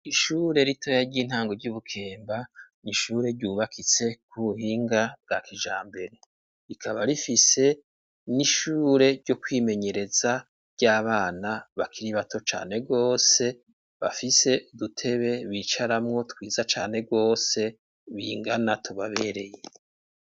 Ishure ritoya ry'intango ry'ibukemba n'ishure ryubakitse ku buhinga bwa kijambere rikaba rifise n'ishure ryo kwimenyereza ry'abana bakiri bato cane gwose bafise n'udutebe bicaramo twiza cane gwose bingana tubabereye.